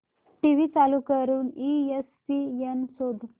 TV चालू करून ESPN शोध